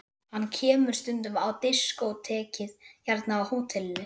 Hann kemur stundum á diskótekið hérna á hótelinu.